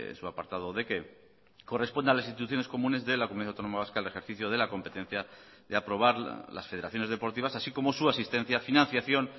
su apartado de que corresponde a las instituciones comunes de la comunidad autónoma vasca el ejercicio de la competencia de aprobar las federaciones deportivas así como su asistencia financiación